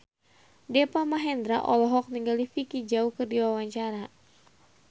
Deva Mahendra olohok ningali Vicki Zao keur diwawancara